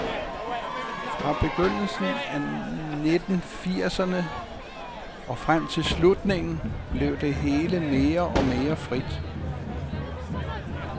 Fra begyndelsen af nitten firserne og frem til slutningen, blev det hele mere og mere frit.